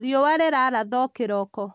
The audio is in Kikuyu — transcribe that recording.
riũa rĩrathaga o kĩroko